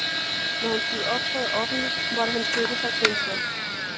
Når han skulle optræde offentligt, måtte han støtte sig til en stok.